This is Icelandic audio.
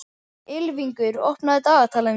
Ylfingur, opnaðu dagatalið mitt.